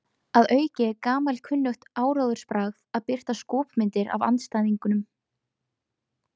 Að auki er gamalkunnugt áróðursbragð að birta skopmyndir af andstæðingnum.